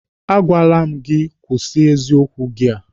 A gwara m gị kwụsị eziokwu gị a!